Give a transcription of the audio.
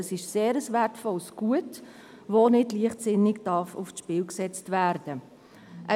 Dies ist ein sehr wertvolles Gut, welches nicht leichtsinnig aufs Spiel gesetzt werden darf.